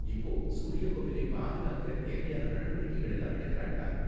இப்போ சூரிய கோவிலை பாதுகாக்க தேவையான நடவடிக்கைகள் எல்லாம் எடுக்கறாங்களா?